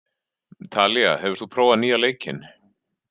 Talía, hefur þú prófað nýja leikinn?